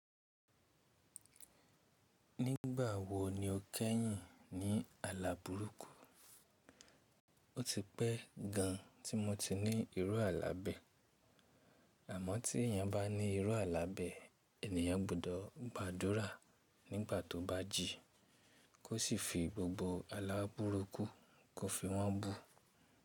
Nígbà wo ni o kẹ́yìn ní àlàbùrúkù? Ó ti pẹ́ gan tí mo ti ní irú àlábẹ̀, àmọ́ tí èèyàn bá ní irú àlábẹ̀, ènìyàn gbọ́dọ̀ gbàdúrà nígbà tó bá jí, kó sì fi gbogbo alábùrúkù kó fi wọ́n bú.